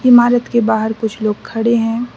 इमारत के बाहर कुछ लोग खड़े हैं।